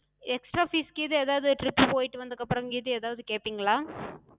extra fees கீது எதாது trip போயிட்டு வந்தததுக்கு அப்றோ கீது எதாது கேப்பிங்களா?